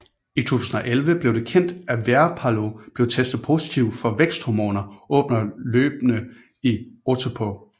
I 2011 blev det kendt at Veerpalu blev testet positiv på væksthormoner under løbene i Otepää